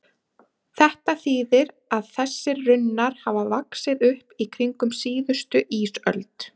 Þetta þýðir að þessir runnar hafa vaxið upp í kringum síðustu ísöld.